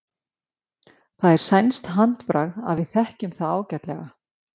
Það er sænskt handbragð og við þekkjum það ágætlega.